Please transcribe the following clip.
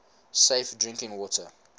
safe drinking water